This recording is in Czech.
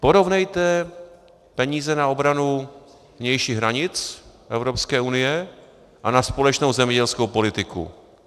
Porovnejte peníze na obranu vnějších hranic Evropské unie a na společnou zemědělskou politiku.